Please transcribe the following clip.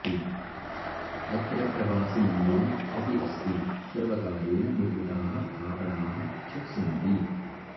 अत्र प्रवासिमन्दिरम् अपि अस्ति सर्वकारेण निर्मिताः आपणाः च सन्ति